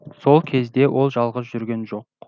сол кезде ол жалғыз жүрген жоқ